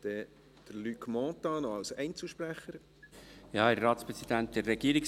Wir kommen zu den Einzelsprechenden, zuerst Luc Mentha.